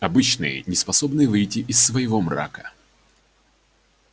обычные неспособные выйти из своего мрака